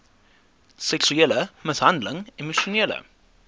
seksuele mishandeling emosionele